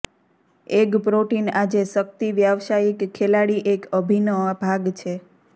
egg protein આજે શક્તિ વ્યાવસાયિક ખેલાડી એક અભિન્ન ભાગ છે